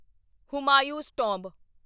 Humayun's tomb